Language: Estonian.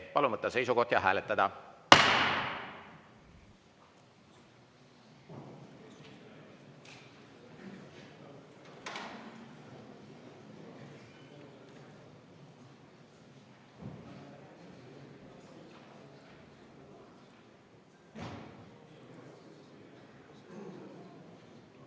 Palun võtta seisukoht ja hääletada!